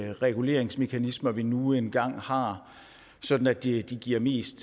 reguleringsmekanismer vi nu engang har sådan at de giver mest